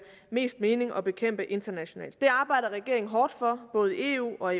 mest mening at bekæmpe internationalt det arbejder regeringen hårdt for både i eu og